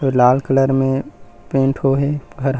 ये लाल कलर में पेंट होए हे घर--